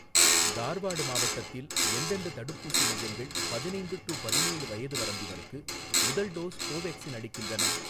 தார்வாடு மாவட்டத்தில் எந்தெந்த தடுப்பூசி மையங்கள் பதினைந்து டு பதினேழு வயது வரம்பினருக்கு முதல் டோஸ் கோவேக்சின் அளிக்கின்றன?